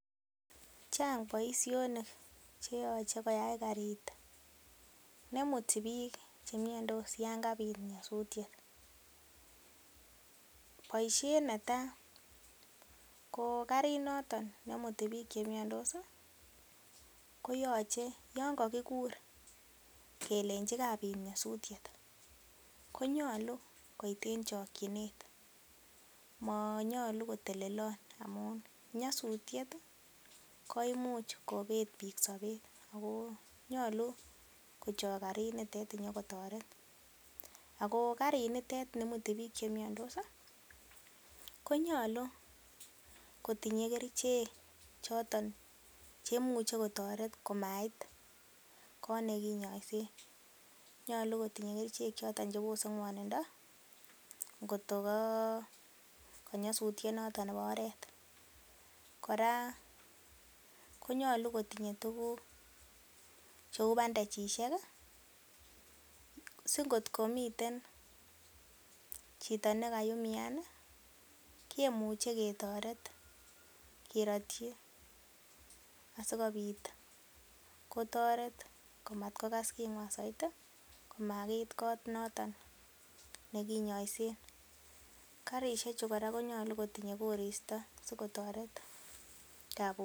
Chang boisionik che yoche koyai karit neimuti biik che miondos yon kabit nyosutiet. Boisiet netai ko karit noton neimuti biik che miandos koyoche yon kagikur kelenchi kabit nyosutiet, konyolu koit en chokinet. Monyolu kotelelon amun nyasutiet koimuch kobet biik sobet so nyolu kochok karinitet inyo kotoret. Ago karinitet neimuti biik che miaondos konyolu kotinye keriichek choto che imuche kotoret komait koot ne kinyoisen. Nyolu kotinye kerichek choton: chebose ng'wonindo ngotko ko nyasutiet noton nebo oret. Kora konyolu kotinye tuguk cheu bandages singotko miten chito ne kaumian kemuch e ketoret kerotyi asikobit kotoret komatkokas king'wan soiti komagiit kot noton nekinyoisen. Karishechu kora konyolu kotinye koristo sikotoret kabuset.